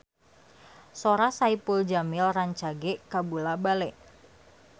Sora Saipul Jamil rancage kabula-bale